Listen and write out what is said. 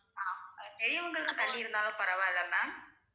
அஹ் பெரியவங்கள்லாம் தள்ளி இருந்தாலும் பரவாயில்ல ma'am